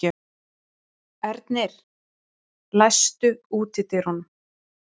Ernir, læstu útidyrunum.